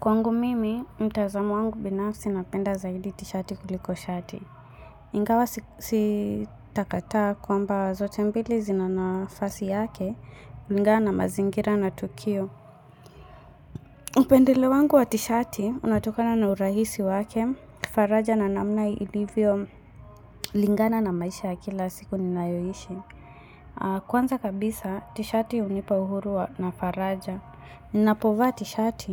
Kwangu mimi, mtazamo wangu binafsi napenda zaidi t-shirt kuliko shati. Ingawa sitakataa kwamba zote mbili zina nafasi yake kulingana na mazingira na tukio. Upendeleo wangu wa t-shirt, unatokana na urahisi wake, faraja na namna ilivyolingana na maisha ya kila siku ninayoishi. Kwanza kabisa, t-shati hunipa uhuru wa na faraja. Napovaa t-shati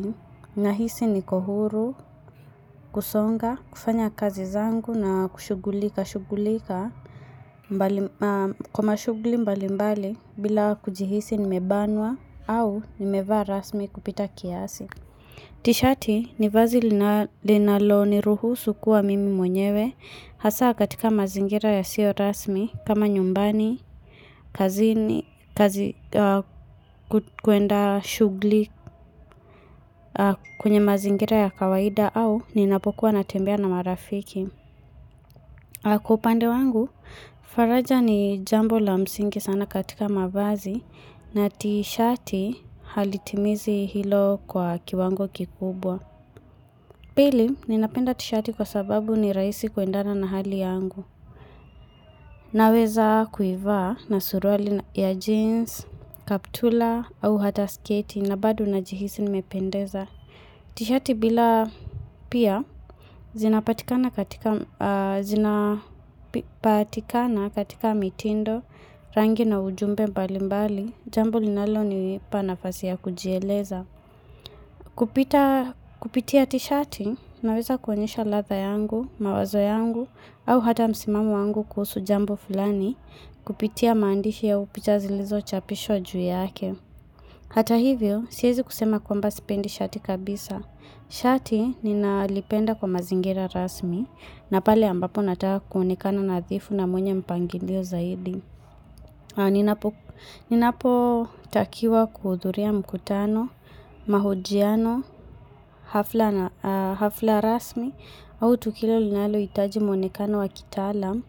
nahisi niko huru, kusonga, kufanya kazi zangu na kushughulika, shughulika kwa mashughuli mbali mbali bila kujihisi nimebanwa au nimevaa rasmi kupita kiasi. T-shati ni vazi linalo niruhusu kuwa mimi mwenyewe hasa katika mazingira yasiyo rasmi kama nyumbani, kazini, kuenda shughuli kwenye mazingira ya kawaida au ninapokuwa natembea na marafiki. Kwa upande wangu, faraja ni jambo la msingi sana katika mavazi na t-shati halitimizi hilo kwa kiwango kikubwa. Pili, ninapenda t-shati kwa sababu ni rahisi kuendana na hali yangu. Naweza kuivaa na suruali ya jeans, kaptula, au hata sketi, na bado najihisi nimependeza. T-shati bila pia, zinapatikana katika mitindo, rangi na ujumbe mbalimbali, jambo linalonipa nafasi ya kujieleza. Kupitia t-shati, naweza kuonyesha ladha yangu, mawazo yangu, au hata msimamo yangu kuhusu jambo fulani Kupitia maandishi ya upicha zilizochapishwa juu yake Hata hivyo, siwezi kusema kwamba sipendi shati kabisa Shati ninalipenda kwa mazingira rasmi na pale ambapo natawa kuonekana nadhifu na mwenye mpangilio zaidi Ninapotakiwa kuhudhuria mkutano, mahojiano, hafla rasmi au tukilo linalohitaji muonekano wa kitaalam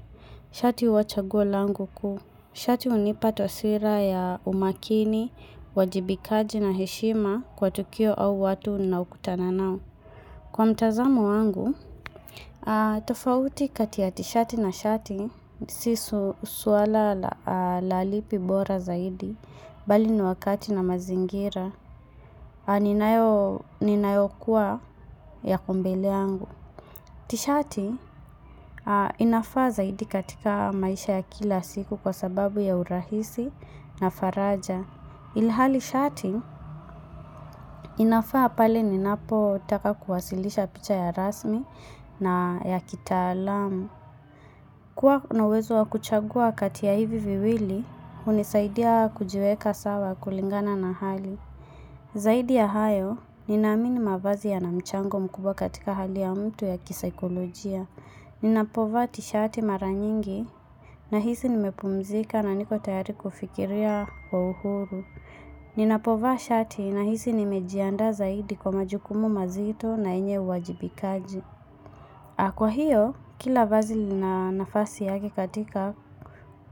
Shati huwa chaguo langu kuu, shati hunipa taswira ya umakini, uwajibikaji na heshima kwa tukio au watu ninaokutana nao. Kwa mtazamu wangu, tofauti kati ya t-shati na shati, si swala la lipi bora zaidi, mbali ni wakati na mazingira, ninayokuwa yako mbele yangu. T-shati, inafaa zaidi katika maisha ya kila siku kwa sababu ya urahisi na faraja. Ilihali shati, inafaa pale ninapotaka kuwasilisha picha ya rasmi na ya kitaalam. Kuwa kunauwezo wa kuchagua kati ya hivi viwili, hunisaidia kujiweka sawa kulingana na hali. Zaidi ya hayo, ninaamini mavazi yana mchango mkubwa katika hali ya mtu ya kisaikolojia. Ninapovaa t-shati mara nyingi nahisi nimepumzika na niko tayari kufikiria kwa uhuru. Ninapovaa shati nahisi nimejiandaa zaidi kwa majukumu mazito na yenye uwajibikaji. Kwa hiyo, kila vazi lina nafasi yake katika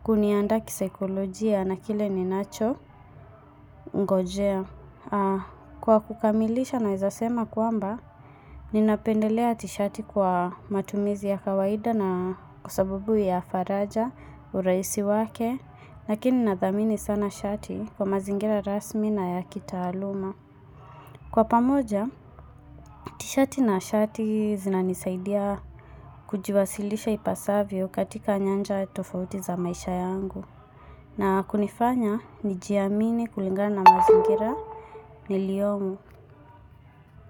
kuniandaa kisaikolojia na kile ninacho ngojea. Kwa kukamilisha naweza sema kwamba, ninapendelea t-shati kwa matumizi ya kawaida na kwa sababu ya faraja urahisi wake Lakini nadhamini sana shati kwa mazingira rasmi na ya kitaaluma Kwa pamoja, t-shati na shati zinanisaidia kujiwasilisha ipasavyo katika nyanja tofauti za maisha yangu na kunifanya nijiamini kulingana na mazingira niliyomo.